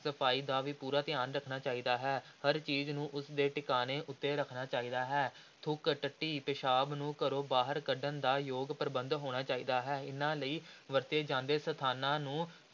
ਸਫ਼ਾਈ ਦਾ ਵੀ ਪੂਰਾ ਧਿਆਨ ਰੱਖਣਾ ਚਾਹੀਦਾ ਹੈ, ਹਰ ਚੀਜ਼ ਨੂੰ ਉਸ ਦੇ ਟਿਕਾਣੇ ਉੱਤੇ ਰੱਖਣਾ ਚਾਹੀਦਾ ਹੈ, ਥੁੱਕ, ਟੱਟੀ, ਪਿਸ਼ਾਬ ਨੂੰ ਘਰੋਂ ਬਾਹਰ ਕੱਢਣ ਦਾ ਯੋਗ ਪ੍ਰਬੰਧ ਹੋਣਾ ਚਾਹੀਦਾ ਹੈ, ਇਨ੍ਹਾਂ ਲਈ ਵਰਤੇ ਜਾਂਦੇ ਸਥਾਨਾਂ ਨੂੰ